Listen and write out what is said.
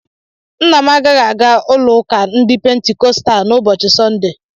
Nna m agaghị aga ụlọụka ndị Pentikọstal n'ụbochị Sọnde.